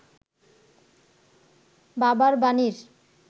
বাবার বাণীর